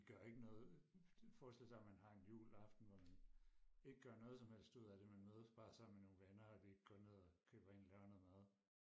vi gør ikke noget forestil sig man har en juleaften hvor man ikke gør noget som helst ud af det man mødes bare sammen med nogle venner og lige går ned og køber ind laver noget mad